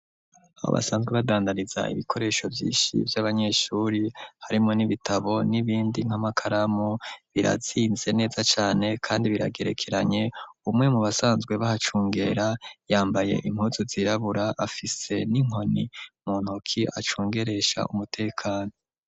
Abo basanzwe badandaniza ibikoresho vyishi vy'abanyeshuri harimo n'ibitabo n'ibindi nkamakaramu biratsinze neza cane, kandi biragerekeranye umwe mu basanzwe bahacungera yambaye impuzu zirabura afise n'inkoni mu ntoki acungeresha umutekano.